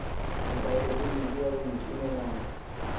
ebhayibhileni eya kungqinelana